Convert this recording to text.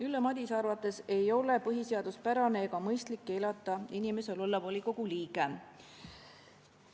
Ülle Madise arvates ei ole põhiseaduspärane ega mõistlik keelata inimesel olla volikogu liige.